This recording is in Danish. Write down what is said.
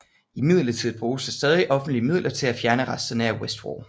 Imidlertid bruges der stadig offentlige midler til at fjerne resterne af Westwall